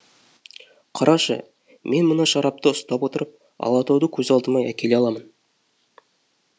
қарашы мен мына шарапты ұстап отырып алатауды көз алдыма әкеле аламын